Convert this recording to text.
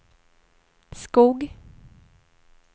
Skog